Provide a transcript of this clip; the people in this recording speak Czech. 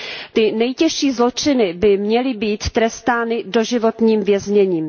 Ty nejtěžší zločiny by měly být trestány doživotním vězněním.